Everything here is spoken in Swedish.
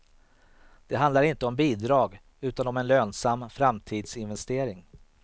Det handlar inte om bidrag utan om en lönsam framtidsinvestering.